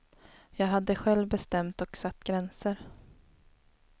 Jag hade själv bestämt och satt gränser.